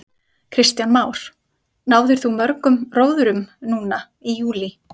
Kristján Már: Náðir þú mörgum róðrum núna í júlí?